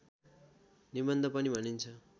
निबन्ध पनि भनिन्छ